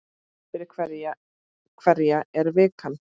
Fyrir hverja er vikan?